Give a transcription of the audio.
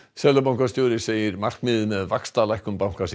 seðlabankastjóri segir að markmiðið með vaxtalækkun bankans